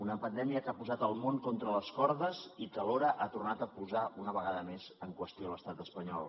una pandèmia que ha posat el món contra les cordes i que alhora ha tornat a posar una vegada més en qüestió a l’estat espanyol